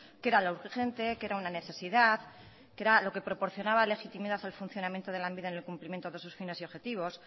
que era lo urgente que era una necesidad que era lo que proporcionaba legitimidad al funcionamiento de lanbide en el cumplimiento de sus fines y objetivos